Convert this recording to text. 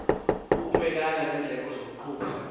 ukumelana neendleko zokuqhuba